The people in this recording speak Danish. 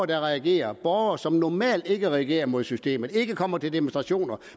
der reagerer borgere som normalt ikke reagerer mod systemet ikke kommer til demonstrationer